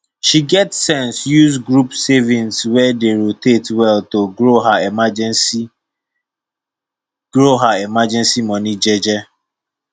she get sense use group savings wey dey rotate well to grow her emergency grow her emergency money jeje